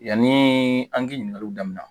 Yanni an k'i ɲininkaliw daminɛ